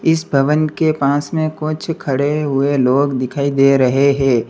इस भवन के पास में कुछ खड़े हुए लोग दिखाई दे रहे हैं।